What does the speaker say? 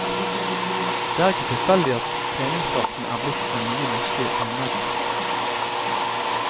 Det er ikke tilfeldig at treningsdrakten er blitt den nye norske bunaden.